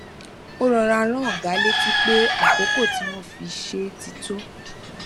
ó rọra rán ọga létí pé àkókò tí wón fi ṣe é ti tó